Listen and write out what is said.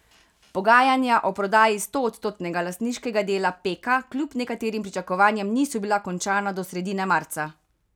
Pogajanja o prodaji stoodstotnega lastniškega dela Peka kljub nekaterim pričakovanjem niso bila končana do sredine marca.